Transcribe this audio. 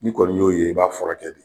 N'i kɔni y'o ye i b'a furakɛ de.